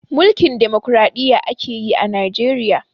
Mulkin Demokradiyya akeyi a Najeriya